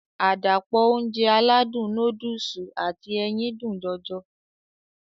Àdàpọ̀ Ounjẹ aládùn nóódùsì àti ẹyin dùn jọjọ